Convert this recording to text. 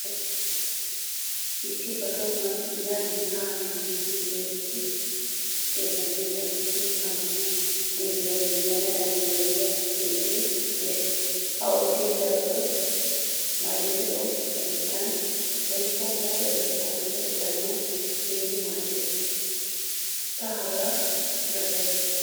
Issi ba tohuwaan yaane ha simmidi heezzu xeetanne usuppun tammu digiriyaa yuuyanawu danddayiyaa oydee de'ees. Ha oydee daroto malibeo keettan woykko huuphphee keettan go'ettanawu keehin maaddees. Ta hagaa dosaysi.